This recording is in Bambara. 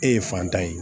E ye fantan ye